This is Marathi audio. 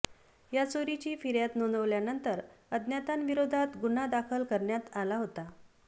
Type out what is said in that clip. या चोरीची फिर्याद नोंदवल्यानंतर अज्ञातांविरोधात गुन्हा दाखल करण्यात आला होता